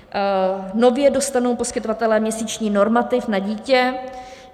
Nově dostanou poskytovatelé měsíční normativ na dítě.